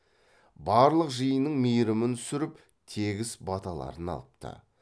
барлық жиынның мейрімін түсіріп тегіс баталарын алыпты